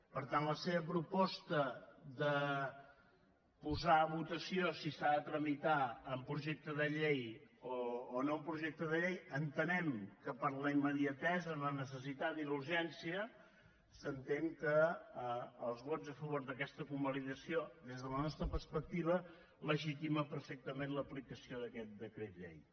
per tant la seva proposta de posar a votació si s’ha de tramitar en projecte de llei o no en projecte de llei entenem que per la immediatesa la necessitat i la urgència s’entén que els vots a favor d’aquesta convalidació des de la nostra perspectiva legitimen perfectament l’aplicació d’aquest decret llei